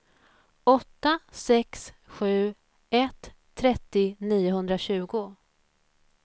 åtta sex sju ett trettio niohundratjugo